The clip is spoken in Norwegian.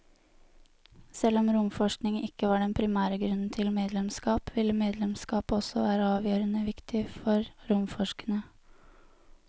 Selv om romforskning ikke var den primære grunnen til medlemskap, ville medlemskapet også være avgjørende viktig for romforskerne.